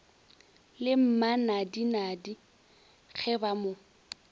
le mmanadinadi ge ba mo